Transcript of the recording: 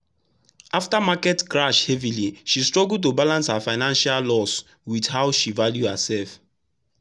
after market crash heavy she struggle to balance her financial loss with how she value herself.